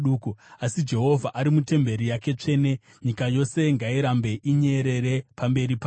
Asi Jehovha ari mutemberi yake tsvene; nyika yose ngairambe inyerere pamberi pake.”